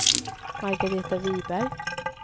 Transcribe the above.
Margaretha Wiberg